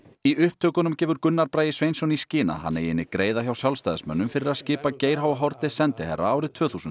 í upptökunum gefur Gunnar Bragi Sveinsson í skyn að hann eigi inni greiða hjá Sjálfstæðismönnum fyrir að skipa Geir h Haarde sendiherra árið tvö þúsund